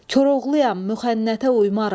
Koroğluyam, müxənnətə uymaram.